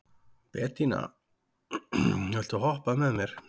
Betanía, viltu hoppa með mér?